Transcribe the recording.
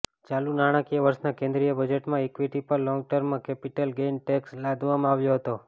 ચાલુ નાણાકીય વર્ષના કેન્દ્રીય બજેટમાં ઇક્વિટી પર long term capital gain tax લાદવામાં આવ્યો હતો